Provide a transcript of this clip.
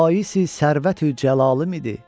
Baisi sərvəti cəlalım idi.